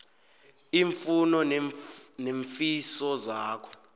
iimfuno neemfiso zakho